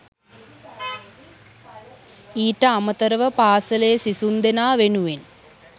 ඊට අමතරව පාසලේ සිසුන්දෙනා වෙනුවෙන්